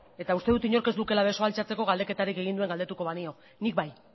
eta uste dut inork ez lukeela besoa altxatzeko galdeketarik egin duen galdetuko banio nik bai